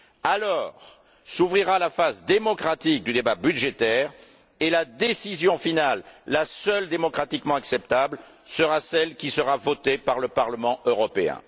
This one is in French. Alors s'ouvrira la phase démocratique du débat budgétaire et la décision finale, la seule démocratiquement acceptable, sera celle qui sera votée par le Parlement européen.